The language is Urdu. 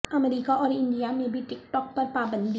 امریکہ اور انڈیا میں بھی ٹک ٹاک پر پابندی